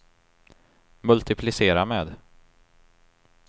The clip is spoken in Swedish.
multiplicera med